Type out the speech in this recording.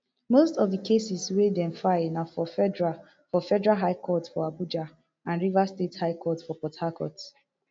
most of di cases wey dem file na for federal for federal high court for abuja and rivers state high court for port harcourt